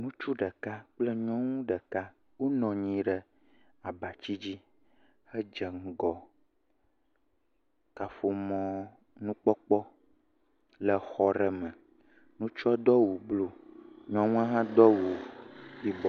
Ŋutsu ɖeka kple nyɔnu ɖeka wonɔ anyi ɖe abati dzi he dze ŋgɔ kaƒomɔ nukpɔkpɔ le xɔ aɖe me. Ŋutsua do awu bluɔ. Nyɔnua hã do awu yibɔ.